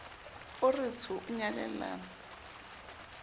o re tsho o nyalellana